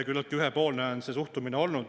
Küllaltki ühepoolne on see suhtumine olnud.